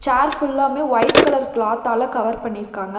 சேர் ஃபுல்லாமே white colour கிளாத்தால cover பண்ணிருக்காங்க.